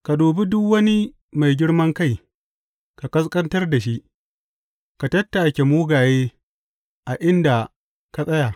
Ka dubi duk wani mai girman kai ka ƙasƙantar da shi, ka tattake mugaye a inda ka tsaya.